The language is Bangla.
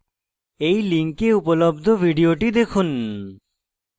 এই link উপলব্ধ video দেখুন